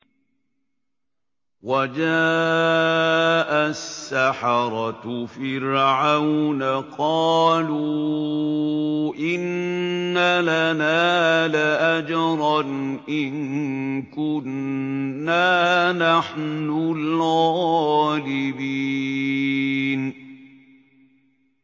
وَجَاءَ السَّحَرَةُ فِرْعَوْنَ قَالُوا إِنَّ لَنَا لَأَجْرًا إِن كُنَّا نَحْنُ الْغَالِبِينَ